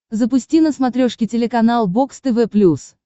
запусти на смотрешке телеканал бокс тв плюс